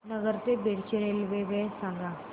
नगर ते बीड ची रेल्वे वेळ सांगा